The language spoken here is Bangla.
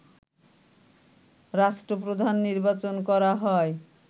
রাষ্ট্র প্রধান নির্বাচন করা হয়